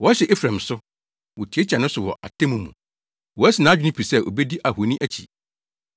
Wɔhyɛ Efraim so, wotiatia ne so wɔ atemmu mu, wasi nʼadwene pi sɛ obedi ahoni akyi.